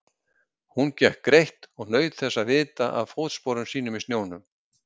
Hún gekk greitt og naut þess að vita af fótsporum sínum í snjónum.